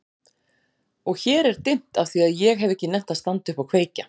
Og hér er dimmt afþvíað ég hef ekki nennt að standa upp og kveikja.